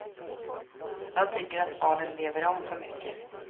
De tycker att barnen lever om för mycket.